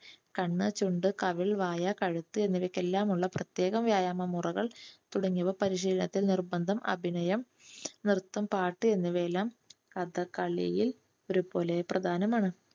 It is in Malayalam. കണ്ണ്, ചുണ്ട്, വായ, കഴുത്ത്, എന്നിവയ്‌ക്കെല്ലാമുള്ള പ്രത്യേക വ്യായാമ മുറകൾ തുടങ്ങിയവ പരിശീലനത്തിൽ നിർബന്ധം അഭിനയം നൃത്തം പാട്ടു എന്നിവയെല്ലാം കഥകളിയിൽ ഒരുപോലെ പ്രധാനമാണ്.